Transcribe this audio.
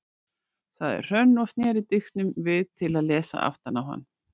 sagði Hrönn og sneri disknum við til að lesa aftan á hann.